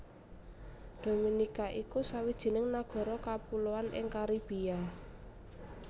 Dominika iku sawijining nagara kapuloan ing Karibia